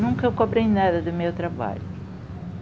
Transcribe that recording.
Nunca eu cobrei nada do meu trabalho.